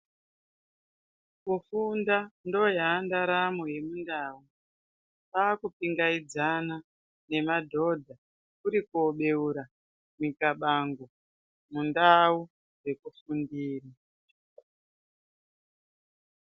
Kufunda ndokwa ndaramo yechindau kwakutendeudzana nemadhodha kuri kubeurana nemibango mundau dzekufundira.